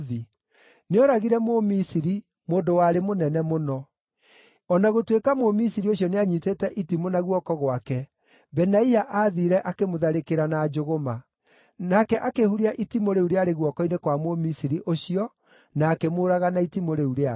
Nĩooragire Mũmisiri mũndũ warĩ mũnene mũno. O na gũtuĩka Mũmisiri ũcio nĩanyiitĩte itimũ na guoko gwake, Benaia aathiire akĩmũtharĩkĩra na njũgũma. Nake akĩhuria itimũ rĩu rĩarĩ guoko-inĩ kwa Mũmisiri ũcio na akĩmũũraga na itimũ rĩu rĩake.